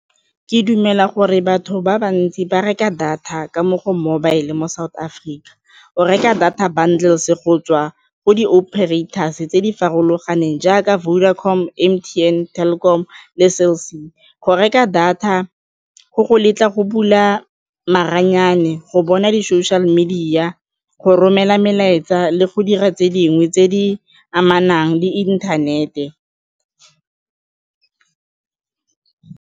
Ke dumela gore batho ba bantsi ba reka data ka mo go mobile mo South Africa, o reka data channels go tswa ko di-operators-e tse di farologaneng jaaka Vodacom, M_T_N, Telkom le Cell C. Go reka data go go letla go bula maranyane, go bona di-social media, go romela melaetsa le go dira tse dingwe tse di amanang le inthanete.